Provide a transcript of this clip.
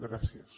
gràcies